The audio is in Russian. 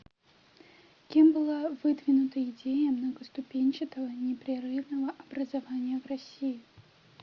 кем была выдвинута идея многоступенчатого непрерывного образования в россии